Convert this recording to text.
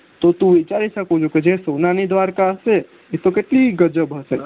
તો તું વિચારી સક કે જે સોનાની દ્વારકા હશે એ કેટલી ગજબ હશે